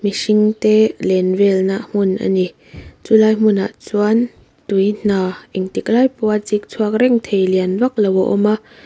mihring te len vel na hmun ani chu lai hmun ah chuan tui hna engtik lai pawh a chik chhuak reng thei lian vak lo a awm a.